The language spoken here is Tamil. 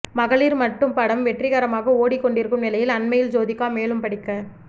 மகளிர் மட்டும் படம் வெற்றிகரமாக ஓடிக் கொண்டிருக்கும் நிலையில் அண்மையில் ஜோதிகா மேலும் படிக்க